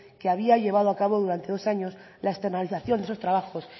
que había llevado a cabo durante dos años la externalización de esos trabajos